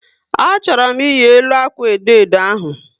A chọrọ m iyi elu akwa edo edo ahu